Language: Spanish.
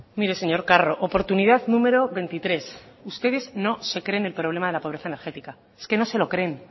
mire señor carro oportunidad número veintitrés ustedes no se creen el problema de la pobreza energética es que no se lo creen